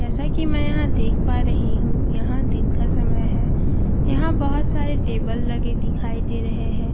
जैसे कि मैं देख पा रही हूं यहां दिन का समय है यहां बहुत सारे टेबल लगे दिखाई दे रहे हैं।